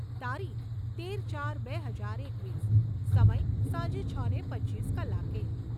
તારીખ તેર ચાર બે હજાર એકવીસ. સમય સાંજે છને પચીસ કલાકે